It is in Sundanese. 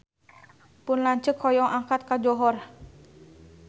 Pun lanceuk hoyong angkat ka Johor